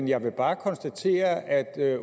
jeg må bare sige at